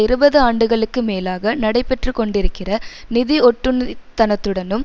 இருபதுஆண்டுகளுக்கு மேலாக நடைபெற்றுக்கொண்டிருக்கிற நிதி ஒட்டுண்ணித்னத்துடனும்